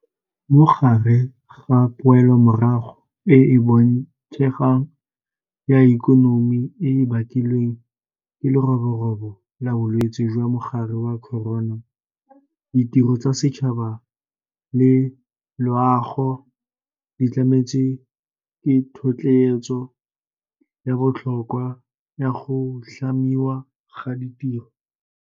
Mo gare ga poelomorago e e boitshegang ya ikonomi e e bakilweng ke leroborobo la Bolwetse jwa Mogare wa Corona, ditiro tsa setšhaba le loago di tlametse ka thotloetso ya botlhokwa ya go tlhamiwa ga ditiro.